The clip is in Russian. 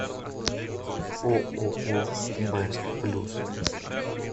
ооо бест плюс